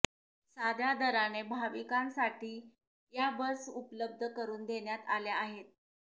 साध्या दराने भाविकांसाठी या बस उपलब्ध करून देण्यात आल्या आहेत